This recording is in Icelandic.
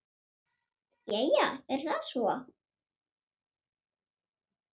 Jæja, er það svo?